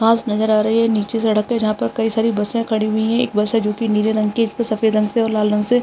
घास नज़र आ रही है नीच सड़क पे जहां पे कईं सारी बसें खड़ी हुई हैं एक बस है जो की नीले रंग की है जिसपे सफ़ेद रंग से और लाल रंग से --